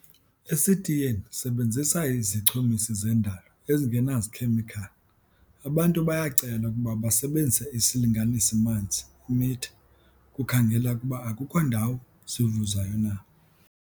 Esitiyeni sebenzisa izichumisi zendalo ezinganazikhemikhali. Abantu bayacelwa ukuba basebenzise isilinganisi-manzi, i-meter, ukukhangela ukuba akukho ndawo zivuzayo na.